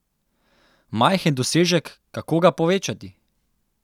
Majhen dosežek, kako ga povečati?